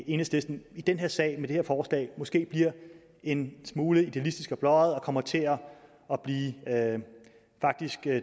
enhedslisten i den her sag med det her forslag måske bliver en smule idealistiske og blåøjede og faktisk kommer til at blive